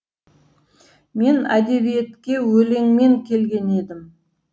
мен әдебиетке өлеңмен келген едім